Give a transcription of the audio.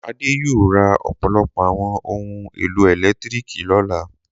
Adé yóò ra ọ̀pọ̀lọpọ̀ àwọn ohun-èlò ẹ̀lẹ́tíríkì lọ́la.